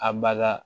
A baga